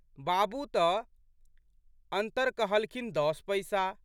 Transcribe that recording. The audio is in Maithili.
बाबू तऽ अन्तर कहलखिन दस पैसा।